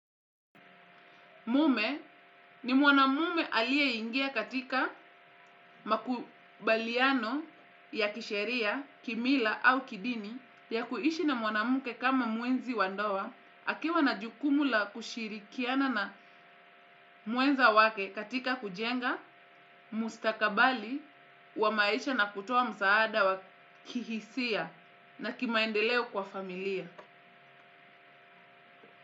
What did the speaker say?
Mume ni mwanamume aliyeingia katika makubaliano ya kisheria, kimila au kidini ya kuishi na mwanamke kama mwenzi wa ndoa akiwa na jukumu la kushirikiana na mwenza wake katika kujenga, mustakabali, wa maisha na kutoa msaada wa kihisia na kimaendeleo kwa familia.